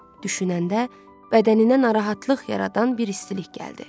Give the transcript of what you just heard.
Düşünəndə bədəninə narahatlıq yaradan bir istilik gəldi.